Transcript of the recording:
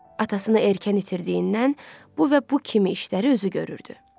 Atasını erkən itirdiyindən bu və bu kimi işləri özü görürdü.